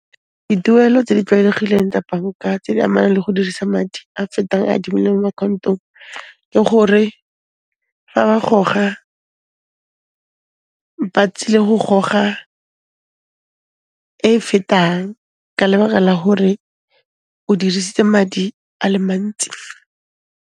Dituelo tse di tlwaelegileng tsa banka, tse di amanang le go dirisa madi a fetang a adimilweng mo account-ong, ke gore fa ba goga, ba tsile go goga e fetang ka lebaka la hore o dirisitse madi a le mantsi.